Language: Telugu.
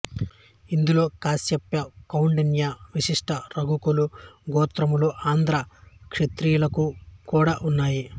ఇందులో కాస్యప కౌండిన్య వశిష్ట రఘుకుల గోత్రములు ఆంధ్ర క్షత్రియులకు కూడా ఉన్నాయి